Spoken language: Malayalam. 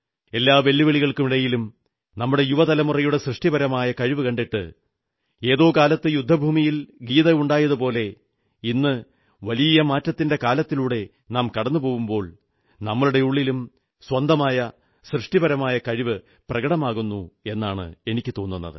എല്ലാ വെല്ലുവിളികൾക്കുമിടയിലും നമ്മുടെ യുവതലമുറയുടെ സൃഷ്ടിപരമായ കഴിവ് കണ്ടിട്ട് ഏതോ കാലത്ത് യുദ്ധഭൂമിയിൽ ഗീത ഉണ്ടായതുപോലെ ഇന്ന് വലിയ മാറ്റത്തിന്റെ കാലത്തിലൂടെ നാം കടന്നു പോകുമ്പോൾ നമ്മുടെ ഉള്ളിലും സ്വന്തമായ സൃഷ്ടിപരമായ കഴിവ് പ്രകടമാകുന്നു എന്നാണ് തോന്നുന്നത്